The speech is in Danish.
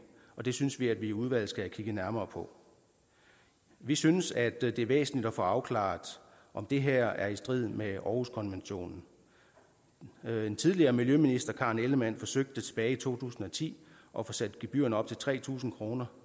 og det synes vi at vi i udvalget skal have kigget nærmere på vi synes at det er væsentligt at få afklaret om det her er i strid med århuskonventionen tidligere miljøminister karen ellemann forsøgte tilbage i to tusind og ti at få sat gebyrerne op til tre tusind kroner